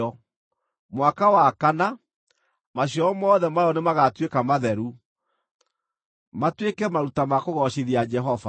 Mwaka wa kana, maciaro mothe mayo nĩmagatuĩka matheru, matuĩke maruta ma kũgoocithia Jehova.